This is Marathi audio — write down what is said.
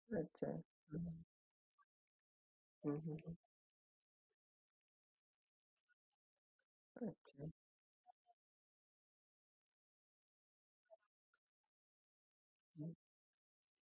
म्हणजे तो ice box तुम्हाला दिल जाईल आणि मग तुम्ही कोणत्याही आकारांचे ice तिथे store करू शकता. त्याच्या नंतर sir म्हणजे घरात किंवा family मध्ये कोणी drink करत असेल तर